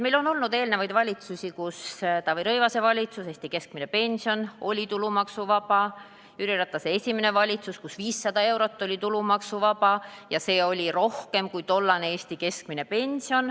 Meil on olnud aga eelnevaid valitsusi, näiteks Taavi Rõivase valitsus, kelle ajal Eesti keskmine pension oli tulumaksuvaba, või Jüri Ratase esimene valitsus, kui 500 eurot oli tulumaksuvaba ja see oli rohkem kui tollane Eesti keskmine pension.